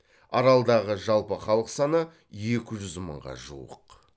аралдағы жалпы халық саны екі жүз мыңға жуық